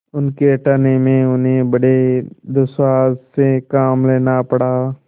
उनके हटाने में उन्हें बड़े दुस्साहस से काम लेना पड़ा